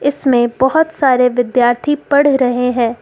इसमें बहुत सारे विद्यार्थी पढ़ रहे हैं।